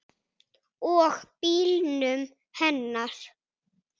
Og bílnum hennar.